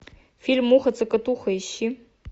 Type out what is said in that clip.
фильм муха цокотуха ищи